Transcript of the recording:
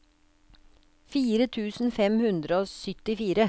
fire tusen fem hundre og syttifire